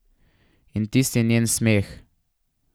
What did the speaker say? In tisti njen smeh.